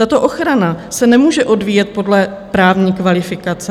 Tato ochrana se nemůže odvíjet podle právní kvalifikace.